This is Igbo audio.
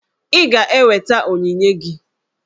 Ị ga-eweta onyinye gị!